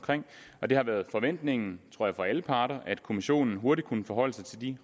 og det har været forventningen fra alle parter at kommissionen hurtigt kunne forholde sig til de